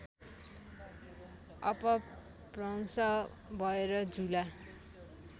अपभ्रंस भएर झुला